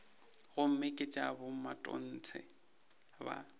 gomme ke tša bomatontshe ba